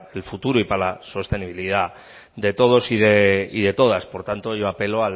el futuro y para la sostenibilidad de todos y de todas por tanto yo apelo